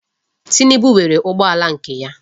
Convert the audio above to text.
Tinubu nwere ụgbọala nke ya.